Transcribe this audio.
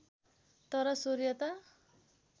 तर सूर्य त